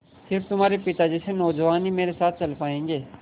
स़िर्फ तुम्हारे पिता जैसे नौजवान ही मेरे साथ चल पायेंगे